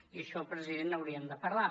i d’això president n’hauríem de parlar